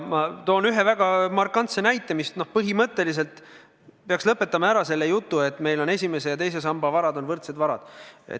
Ma toon ühe väga markantse näite, mis põhimõtteliselt peaks lõpetama ära selle jutu, et meil on esimese ja teise samba varad võrdsed varad.